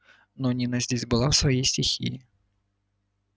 но нина здесь была в своей стихии